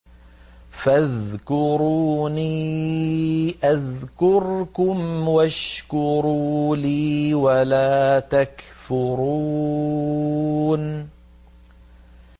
فَاذْكُرُونِي أَذْكُرْكُمْ وَاشْكُرُوا لِي وَلَا تَكْفُرُونِ